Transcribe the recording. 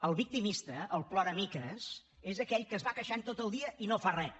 el victimista el ploramiques és aquell que es va queixant tot el dia i no fa res